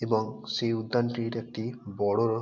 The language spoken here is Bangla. এবং সেই উদ্যানটির একটি বড় --